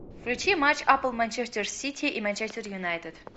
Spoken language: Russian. включи матч апл манчестер сити и манчестер юнайтед